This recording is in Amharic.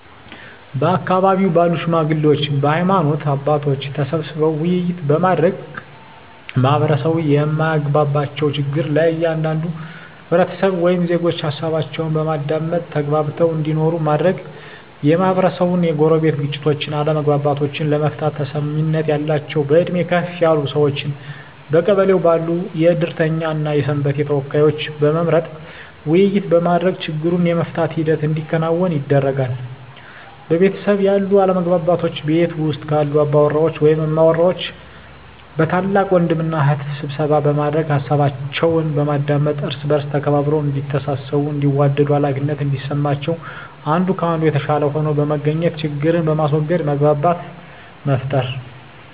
በአካባቢው ባሉ ሽማግሌዎች በሀይማኖት አባቶች ተሰብስበው ውይይት በማድረግ ማህበረሰቡ የማያግባባቸውን ችግር ከእያንዳንዱ ህብረተሰብ ወይም ዜጎች ሀሳባቸውን በማዳመጥ ተግባብተው እንዲኖሩ ማድረግ, የማህበረሰቡን የጎረቤት ግጭቶችን አለመግባባቶችን ለመፍታት ተሰሚነት ያላቸውን በእድሜ ከፍ ያሉ ሰዎችን በቀበሌው ባሉ የእድርተኛ እና የሰንበቴ ተወካዮችን በመምረጥ ውይይት በማድረግ ችግሩን የመፍታት ሂደት እንዲከናወን ያደርጋሉ። በቤተሰብ ያሉ አለመግባባቶችን ቤት ውስጥ ባሉ አባወራ ወይም እማወራ በታላቅ ወንድም እና እህት ስብሰባ በማድረግ ሀሳባቸውን በማዳመጥ እርስ በእርስ ተከባብረው እዲተሳሰቡ እንዲዋደዱ ሃላፊነት እንዲሰማቸው አንዱ ከአንዱ የተሻለ ሆኖ በመገኘት ችግርን በማስዎገድ መግባባትን መፍጠር።